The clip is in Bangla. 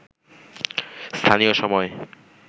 স্থানীয় সময়